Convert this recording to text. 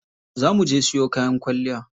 Za muje siyo kayan kwalliya.